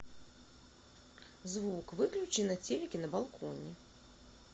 звук выключи на телике на балконе